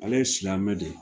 Ale ye silamɛ de